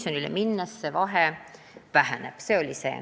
Pensionile minnes see vahe väheneb.